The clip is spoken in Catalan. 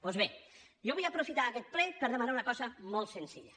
doncs bé jo vull aprofitar aquest ple per demanar una cosa molt senzilla